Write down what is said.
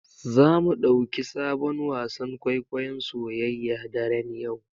Zamu ɗauki sabon wasan kwaikwayon soyayya daren yau.